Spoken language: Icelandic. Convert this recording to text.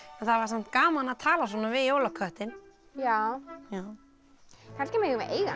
það var samt gaman að tala við jólaköttinn já kannski megum við eiga